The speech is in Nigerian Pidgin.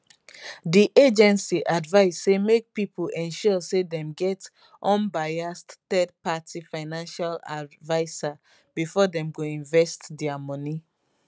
di agency advise say make pipo ensure say dem get unbiased third party financial adviser bifor dem go invest dia money